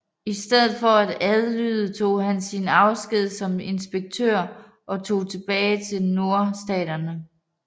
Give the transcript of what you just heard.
I stedet for at adlyde tog han sin afsked som inspektør og tog tilbage til Nordstaterne